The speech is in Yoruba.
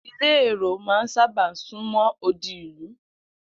Ilé èrò̩ máa ń sábà sún mó̩ odi ìlú